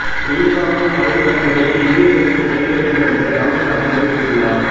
உயிர்காக்கும் மருந்துகள் முதலில் இந்தியர்களுக்கு கிடைக்க வேண்டும் என்று ராகுல் காந்தி தெரிவித்துள்ளார்